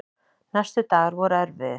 Næstu dagar voru erfiðir.